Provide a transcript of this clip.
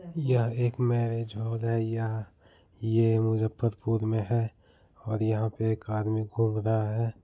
यह एक marriage hall है | यहाँ ये मुजफ्फरपुर मे है | और यहाँ पे एक आदमी घूम रहा है।